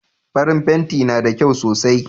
Farin fenti na da kyau sosai